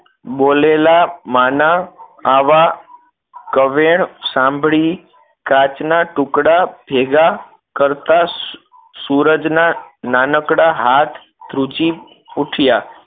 બોલેલા માં ના આવા કવેર સાંભળી કાચના ટુકડા ભેગા કરતાં સૂરજ ના નાનકડા હાથ ધ્રુજી ઉઠયા